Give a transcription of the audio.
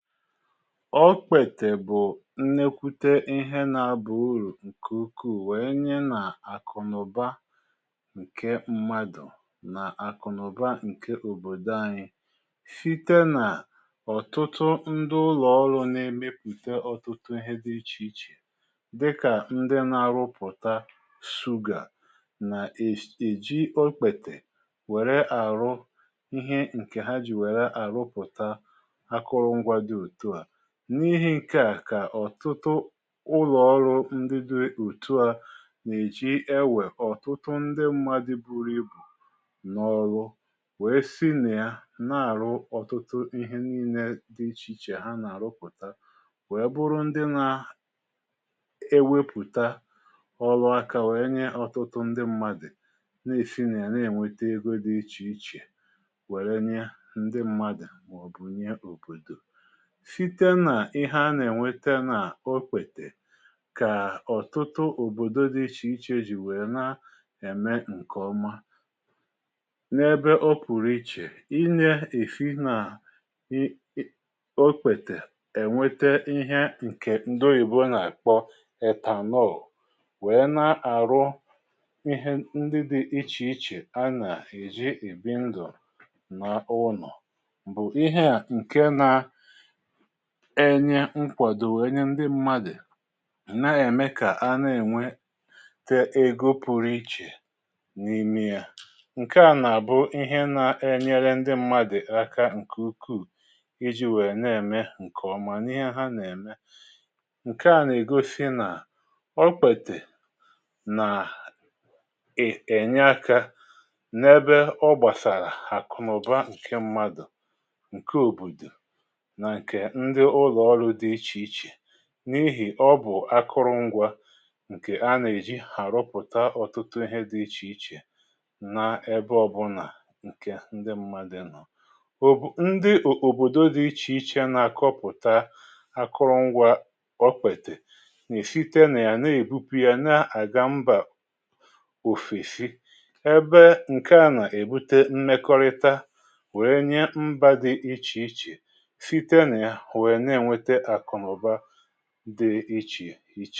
Okpètè bụ̀ nnekwute ihe n’abà urù ǹkè ukwu weenye nà-àkụ̀nụ̀ba ǹke mmadụ̀ nà àkụ̀nụ̀ba ǹke òbòdò anyi site nà ọ̀tụtụ ndụ ụlọ̀ọrụ̇ na-emepùte ọ̀tụtụ ihe dị̇ ichè ichè dịkà ndị nȧ-arụpụ̀ta suga nà-èji okpètè wère àrụ ihe ǹkè ha jì wère àrụpụ̀ta akụrụngwa dị otua. N’ihi̇ ǹke à, kà ọ̀tụtụ ụlọ̀ ọrụ ndị di òtùa nà-èji ewè ọ̀tụtụ ndị mmadụ̇ buru ibù n’ọrụ we si nà ya na-àrụ ọ̀tụtụ ihe nii̇nė dị ichè ichè ha nà-àrụpùta we bụrụ ndị nȧ ewepùta ọrụ aka wèe nye ọtụtụ ndị mmadụ̀ nà-èsi nà ya na-ènwete ego dị ichè ichè wère nye ndị mmadụ̀ mà ọ̀bụ̀ nye òbòdò. Site nà ihe a nà-ènweta nà okpètè kà ọ̀tụtụ òbòdo dị ichè ichè ji wèe na-ème ǹke oma. N'ebe o pùrù ichè, ina esi nà um okpètè ènwete ihe ǹkè ndị oyibo nà-àkpọ età nọọlụ wèe na-àrụ ihe ndị dị ichè ichè a nà-èji ebì ndụ̀ nà ụnọ bụ̀ ihe à ǹke nà enye nkwàdò wèe nye ndị mmadụ̀ na-ème kà a na-ènwe te egȯ pụrụ ichè n’ime yȧ. Nke à nà-àbụ ihe na-enyere ndị mmadụ̀ aka ǹkè ukwuù iji̇ wèe na-ème ǹkèọma n’ihe ha nà-ème. Nke à nà-ègosi nà okpètè nà ènye aka n’ebe ọ gbàsàrà àkụnaụba ǹke mmadụ̀, nke obodo, na nke ndị ụlọ ọrụ dị iche iche n’ihì ọ bụ̀ akụrụngwȧ ǹkè anà-èji àrụpụ̀ta ọ̀tụtụ ihe dị ichèichè n’ebe ọbụlà ǹkè ndị mmadị nọ̀. O bụ̀ ndị ò òbòdo dị ichè ichè na-àkọpụ̀ta akụrụngwȧ okpètè nà-èsite nà ya na-èbupu ya na-àga mbà òfèsi ebe ǹkè a nà-èbute mmekọrịta wèe nye mbȧ dị ichè ichè site na ya wee na enweta akụnaụba dị ịchì ichè.